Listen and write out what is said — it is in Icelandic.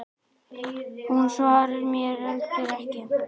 Hún svarar mér heldur ekki.